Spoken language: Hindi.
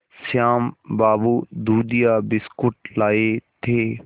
श्याम बाबू दूधिया बिस्कुट लाए थे